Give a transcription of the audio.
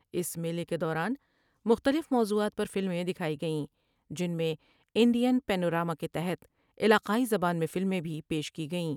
اس میلہ کے دوران مختلف موضوعات پرفلمیں دکھائی گئیں جن میں انڈین پینو راما کے تحت علاقائی زبان میں فلمیں بھی پیش کی گئیں ۔